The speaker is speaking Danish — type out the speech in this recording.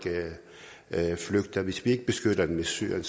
flygter hvis vi ikke beskytter dem i syrien